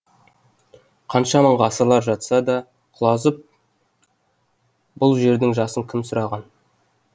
қанша мың ғасырлар жатса да құлазып бұл жердің жасын кім сұраған